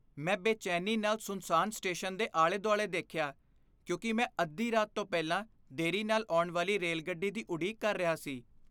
ਮੈਂ ਬੇਚੈਨੀ ਨਾਲ ਸੁੰਨਸਾਨ ਸਟੇਸ਼ਨ ਦੇ ਆਲੇ ਦੁਆਲੇ ਦੇਖਿਆ ਕਿਉਂਕਿ ਮੈਂ ਅੱਧੀ ਰਾਤ ਤੋਂ ਪਹਿਲਾਂ ਦੇਰੀ ਨਾਲ ਆਉਣ ਵਾਲੀ ਰੇਲਗੱਡੀ ਦੀ ਉਡੀਕ ਕਰ ਰਿਹਾ ਸੀ